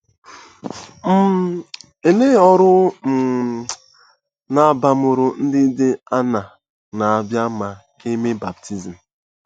um Olee ọrụ um na abamuru ndị dị aṅaa na-abịa ma e mee baptizim?